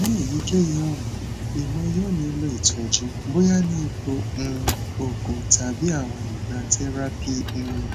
ni eyikeyi ọran iwọ yoo nilo itọju boya ni ipo um oogun tabi awọn igba therapy um